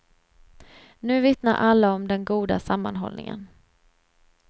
Nu vittnar alla om den goda sammanhållningen.